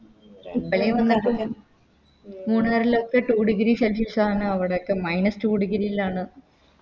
മൂന്നാറിലൊക്കെ Two degree celsius ആണ് അവിടൊക്കെ Minuse two degree ലാണ്